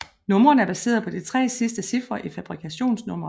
Numrene er baseret på de tre sidste cifre i fabrikationsnummeret